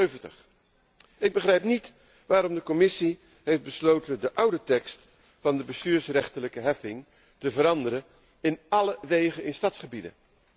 76. Ik begrijp niet waarom de Commissie heeft besloten de oude tekst van de bestuursrechtelijke heffing te veranderen in alle wegen in stadsgebieden.